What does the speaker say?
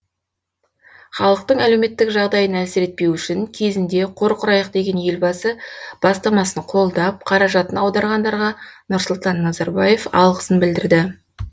халықтың әлеуметтік жағдайын әлсіретпеу үшін кезінде қор құрайық деген елбасы бастамасын қолдап қаражатын аударғандарға нұрсұлтан назарбаев алғысын білдірді